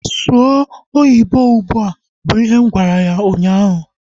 Sụọ oyibo ụgbụa! Bụ ihe m gwara ya ụnyaahụ